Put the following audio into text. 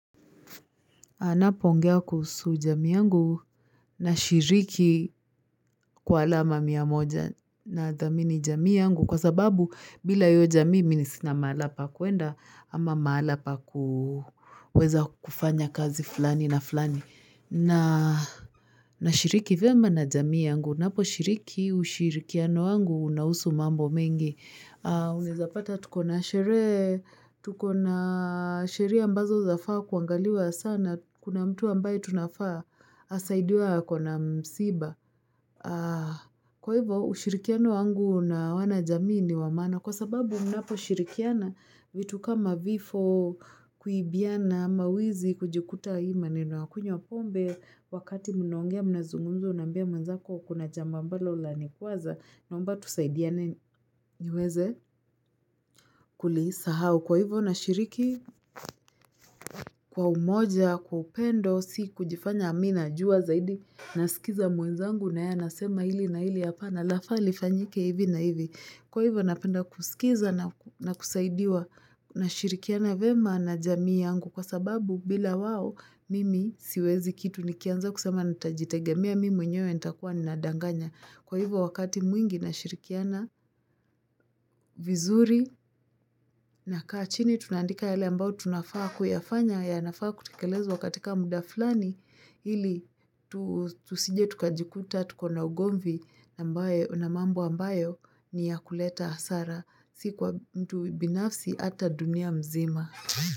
Anapoongea kuhusu jamii yangu nashiriki kwa alama mia moja na dhamini jamii yangu kwa sababu bila hiyo jamii mimisina mahala pa kuenda ama mahala pa kuweza kufanya kazi fulani na fulani. Nashiriki vyema na jamii yangu, naposhiriki ushirikiano wangu unahusu mambo mengi. Unaeza pata tuko na sherehe, tuko na sheria ambazo zafaa kuangaliwa sana, kuna mtu ambaye tunafaa, asaidiwe ako na msiba. Kwa hivyo, ushirikiano wangu na wanajamii ni wa maana, kwa sababu mnaposhirikiana vitu kama vifo kuibiana, mawizi, kujikuta hii maneno ya kunywa pombe. Wakati mnaongea mnazungumza unaambia mwenzako kuna jambo ambalo lanikwaza naomba tusaidiane niweze kulisahau. Kwa hivo nashiriki kwa umoja, kwa upendo, si kujifanya mimi najua zaidi, nasikiza mwenzangu na yeye anasema hili na hili hapa na lafaa lifanyike hivi na hivi. Kwa hivyo napenda kusikiza na kusaidiwa nashirikiana vyema na jamii yangu kwa sababu bila wao mimi siwezi kitu nikianza kusema ntajitegemea mimi mwenyewe nitakuwa nadanganya. Kwa hivyo wakati mwingi nashirikiana vizuri nakaa chini tunaandika yale ambayo tunafaa kuyafanya yanafaa kutekelezwa katika muda flani ili tusije tukajikuta tuko na ugomvi ambayo na mambo ambayo ni ya kuleta hasara si kwa mtu binafsi hata dunia mzima.